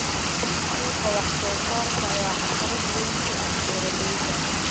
Suuqa wax soo saarka ayaa caqabad weyn ku ah beeralayda.